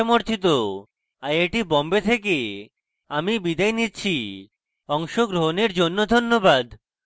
I I T Bombay থেকে আমি বিদায় নিচ্ছি অংশগ্রহণের জন্য ধন্যবাদ